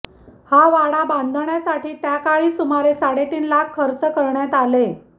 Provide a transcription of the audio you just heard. हा वाडा बांधण्यासाठी त्याकाळी सुमारे साडेतीन लाख खर्च करण्यात आले